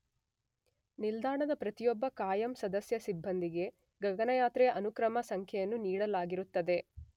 ನಿಲ್ದಾಣದ ಪ್ರತಿಯೊಬ್ಬ ಕಾಯಂ ಸದಸ್ಯ ಸಿಬ್ಬಂದಿಗೆ ಗಗನಯಾತ್ರೆಯ ಅನುಕ್ರಮ ಸಂಖ್ಯೆಯನ್ನು ನೀಡಲಾಗಿರುತ್ತದೆ.